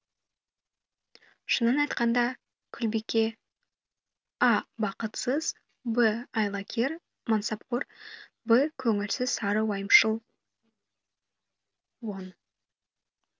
шынын айтқанда күлбике а бақытсыз қыз б айлакер мансапқор в көңілсіз сары уайымшыл он